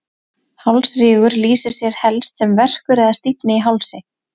Hálsrígur lýsir sér helst sem verkur eða stífni í hálsi.